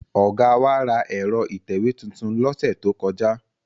Ọ̀gá wa ra ẹ̀rọ ìtẹ̀wé tuntun lọ́sẹ̀ tó kọjá.